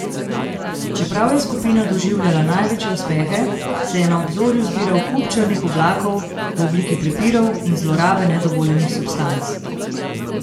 Čeprav je skupina doživljala največje uspehe, se je na obzorju zbiral kup črnih oblakov v obliki prepirov in zlorabe nedovoljenih substanc.